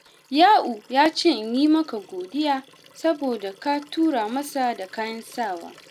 Ya’u ya ce in yi maka godiya, saboda ka tura masa da kayan sawa.